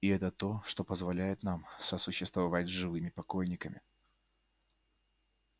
и это то что позволяет нам сосуществовать с живыми покойниками